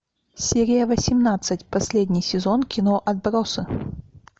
серия восемнадцать последний сезон кино отбросы